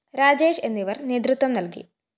രാജേഷ് എന്നിവര്‍ നേതൃത്വം നല്‍കി